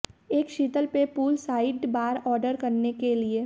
एक शीतल पेय पूल साइड बार ऑर्डर करने के लिए